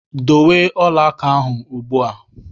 Dowe ọla aka ahụ ugbu a!